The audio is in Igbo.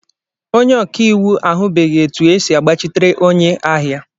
Onye ọka iwu ahụbeghị etu esi agbachitere onye ahịa.